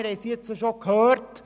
wir haben es bereits gehört.